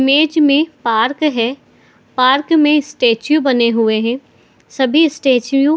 image में park है park में स्टैचू बने हुए हैं सभी स्टैचू--